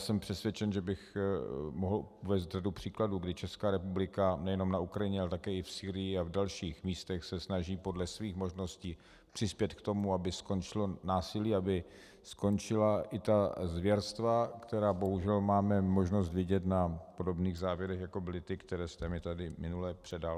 Jsem přesvědčen, že bych mohl uvést řadu příkladů, kdy Česká republika nejenom na Ukrajině, ale také i v Sýrii a v dalších místech se snaží podle svých možností přispět k tomu, aby skončilo násilí, aby skončila i ta zvěrstva, která bohužel máme možnost vidět na podobných záběrech, jako byly ty, které jste mi tady minule předal.